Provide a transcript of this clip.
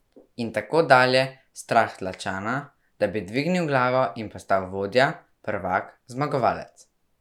In tako dalje, strah tlačana, da bi dvignil glavo in postal vodja, prvak, zmagovalec.